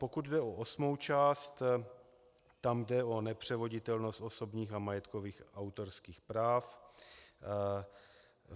Pokud jde o osmou část, tam jde o nepřevoditelnost osobních a majetkových autorských práv.